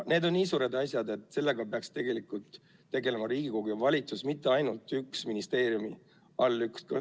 Need on nii suured asjad, et sellega peaks tegelikult tegelema Riigikogu ja valitsus, mitte ainult üks ministeeriumi allüksus.